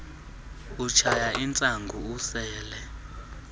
utshaya intsangu usela